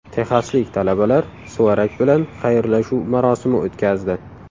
Texaslik talabalar suvarak bilan xayrlashuv marosimi o‘tkazdi .